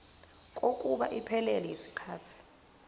kokuba iphelele yisikhathi